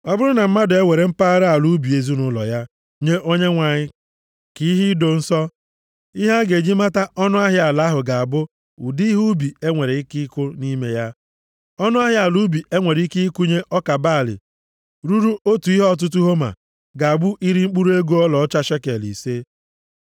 “ ‘Ọ bụrụ na mmadụ ewere mpaghara ala ubi ezinaụlọ ya nye Onyenwe anyị ka ihe ido nsọ, ihe a ga-eji mata ọnụahịa ala ahụ ga-abụ ụdị ihe ubi e nwere ike ịkụ nʼime ya. Ọnụahịa ala ubi e nwere ike ịkụnye ọka balị ruru otu ihe ọtụtụ homa, ga-abụ iri mkpụrụ ego ọlaọcha shekel ise.